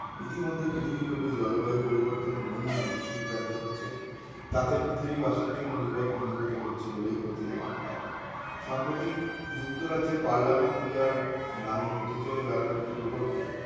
ইতিমধ্যে পৃথিবীব্যাপী জলবায়ু পরিবর্তনের নমুনা দৃষ্টিগ্রাজো হচ্ছে তাতে পৃথিবীবাসীর জন্য বিপদ ঘনীভূত হচ্ছে বলেই প্রতি অমন হয় সম্প্রতি যুক্তরাজ্যের পার্লামেন্ট পি আর নামে হেঁটে চলে বেড়ানো একটি robot কে